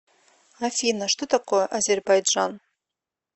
афина что такое азербайджан